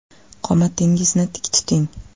Qomatingizni tik tuting .